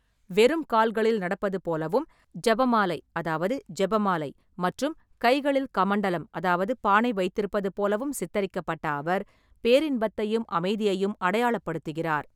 வெறும் கால்களில் நடப்பது போலவும், ஜபமாலை அதாவது ஜெபமாலை மற்றும் கைகளில் கமண்டலம் அதாவது பானை வைத்திருப்பது போலவும் சித்தரிக்கப்பட்ட அவர், பேரின்பத்தையும் அமைதியையும் அடையாளப்படுத்துகிறார்.